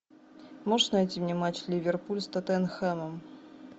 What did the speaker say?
можешь найти мне матч ливерпуль с тоттенхэмом